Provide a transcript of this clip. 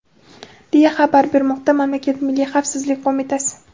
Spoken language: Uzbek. deya xabar bermoqda mamlakat Milliy xavfsizlik qo‘mitasi.